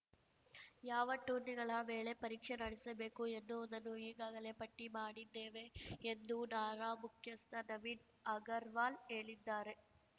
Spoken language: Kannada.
ಯಾವ ಟೂರ್ನಿಗಳ ವೇಳೆ ಪರೀಕ್ಷೆ ನಡೆಸಬೇಕು ಎನ್ನುವುದನ್ನು ಈಗಾಗಲೇ ಪಟ್ಟಿಮಾಡಿದ್ದೇವೆ ಎಂದು ನಾರಾ ಮುಖ್ಯಸ್ಥ ನವೀನ್‌ ಅಗರ್‌ವಾಲ್‌ ಹೇಳಿದ್ದಾರೆ